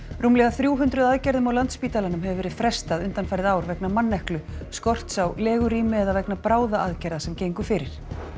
rúmlega þrjú hundruð aðgerðum á Landspítalanum hefur verið frestað undanfarið ár vegna manneklu skorts á legurými eða vegna bráðaaðgerða sem gengu fyrir